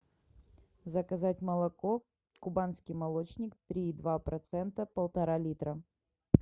заказать молоко кубанский молочник три и два процента полтора литра